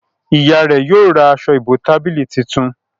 ìyá rẹ yóò rá Aṣọ ìbotábílì títún